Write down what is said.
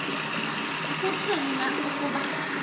kutheni na ukuba